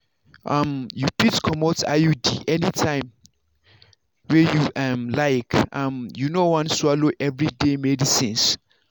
um you fit comot iud anytime wey you um like um if you no wan swallow everyday medicines.